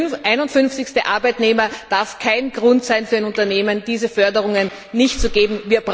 251. Arbeitnehmer darf kein Grund sein für ein Unternehmen, diese Förderungen nicht zu geben.